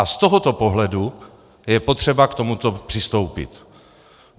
A z tohoto pohledu je potřeba k tomuto přistoupit.